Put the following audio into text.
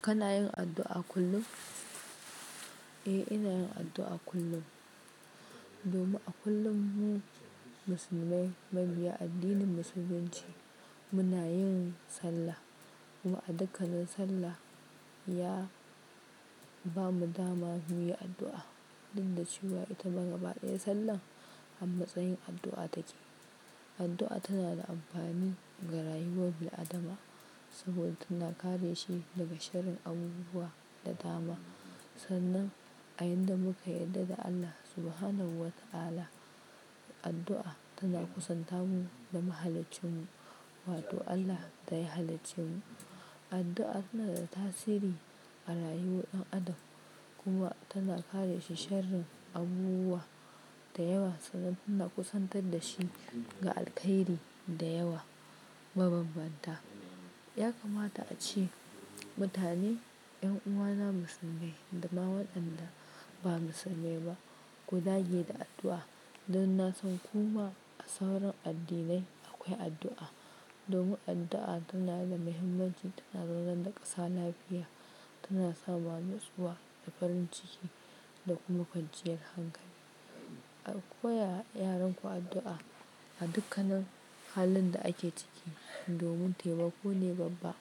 Kana yin addu'a kullum? Eh, ina yin addu'a kullum. Domin a kullum mu musulmai, mabiya addinin Musulunci, muna yin sallah. Kuma a dukkanin sallah ya bamu dama muyi addu'a. Duk da cewa ita gaba ɗaya sallahr a matsayin addu'a take. Addu'a tana da amfani ga rayuwar bil-adama saboda tana kare shi daga sharrin abubuwa da dama. Sannan a yanda muka yarda da Allah Subhanahu wa ta'ala, addu'a tana kusanta mu da mahaliccin mu, wato Allah da ya halaccin mu. Addu'a tana da tasiri a rayuwar ɗan adam, kuma tana kare shi sharin abubuwa da yawa, sannan tana kusantar da shi ga alkhairi da yawa, ma banbanta. Ya kamata ace mutane, 'yan uwana musulmai da ma waɗanda ba musulmai ba, ku dage da addu'a. Don na san kuma a sauran addinai akwai addu'a. Domin addu'a tana da muhimmanci, tana zaunar da ƙasa lafiya, tana sa ma nutsuwa da farin ciki da kuma kwanciyar hankali. Ku Koyawa yaran ku addu'a a dukkanin halin da ake ciki. Domin taimako ne babba.